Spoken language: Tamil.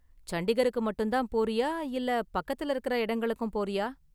சண்டிகருக்கு மட்டும் தான் போறியா இல்ல பக்கத்துல இருக்குற இடங்களுக்கும் போறியா?